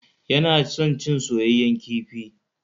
Yana son cin soyeyyen kifi.